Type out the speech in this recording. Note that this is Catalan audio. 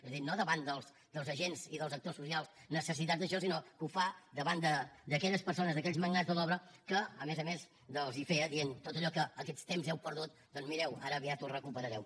és a dir no davant dels agents i dels actors socials necessitats d’això sinó que ho fa davant d’aquelles persones d’aquells magnats de l’obra que a més a més els ho feia dient tot allò que aquests temps heu perdut doncs mireu ara aviat ho recuperareu